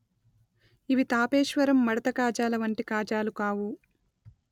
ఇవి తాపేశ్వరం మడత కాజాల వంటి కాజాలు కావు